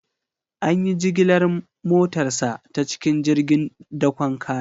An yi jigilar motarsa ​​ta cikin jirgin dakon kaya.